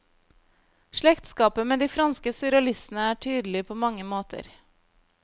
Slektskapet med de franske surrealistene er tydelig på mange måter.